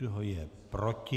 Kdo je proti?